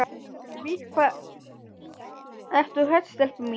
Við hvað ertu hrædd, stelpa mín?